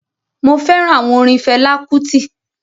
mo fẹràn àwọn orin Fela Kuti.